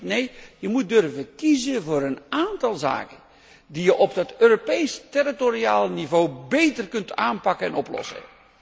Nee, we moeten durven kiezen voor een aantal zaken die we op dat Europees territoriaal niveau beter kunnen aanpakken en oplossen.